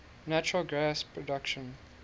natural gas production